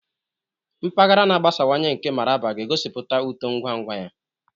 Mpaghara na-agbasawanye nke Mararaba ga-egosipụta uto ngwa ngwa ya.